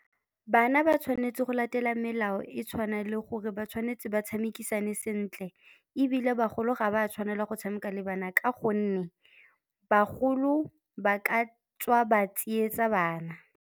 Bana ba tshwanetse go latela melao e tshwana le gore ba tshwanetse ba tshamekisane sentle, ebile bagolo ga ba tshwanela go tshameka le bana ka gonne bagolo ba ka tswa ba tsietsa bana.